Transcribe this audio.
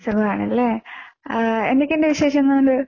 സുഖാണ് ലെ. ആഹ് എന്തൊക്കെയുണ്ട് വിശേഷങ്ങൾ?